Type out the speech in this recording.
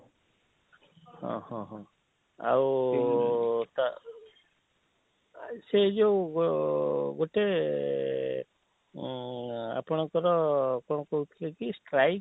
ହଁ ହଁ ଆଉ ତା ସେ ଯୋଉ ଅଁ ଅଁ ଅଁ ଗୋଟେ ଏଁ ଏଁ ଉଁ ଉଁ ଆପଣକର କଣ କହୁ ଥିଲେ କି strike